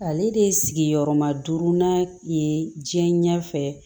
Ale de ye sigiyɔrɔma duuru na ye diɲɛ ɲɛfɛ